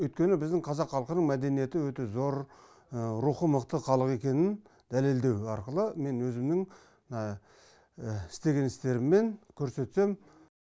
өйткені біздің қазақ халқының мәдениеті өте зор рухы мықты халық екенін дәлелдеу арқылы мен өзімнің істеген істеріммен көрсетсем